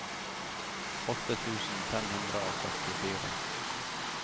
åtte tusen fem hundre og førtifire